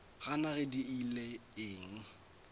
gana ge di ile eng